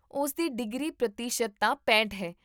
ਉਸਦੀ ਡਿਗਰੀ ਪ੍ਰਤੀਸ਼ਤਤਾ ਪੈਂਹਠ ਹੈ